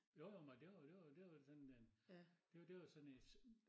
Jo jo men og det var det var det var sådan en det det var sådan en